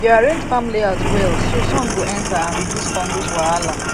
we dey arrange farm layout well so sun go enter and reduce fungus wahala